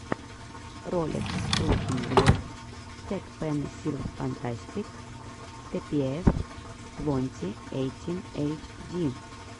ролик трухин глеб тэкпэнсилфантастик типиэф твонти эйтин эйчди